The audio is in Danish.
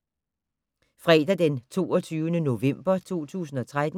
Fredag d. 22. november 2013